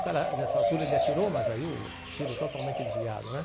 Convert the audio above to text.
O cara, nessa altura, ele atirou, mas aí o tiro totalmente desviado, né?